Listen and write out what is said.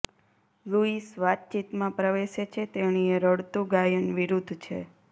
Louis વાતચીતમાં પ્રવેશે છે તેણીએ રડતું ગાયન વિરુદ્ધ છે